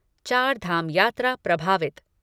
चारधाम यात्रा प्रभावित